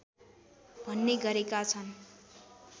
भन्ने गरेका छन्